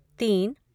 तीन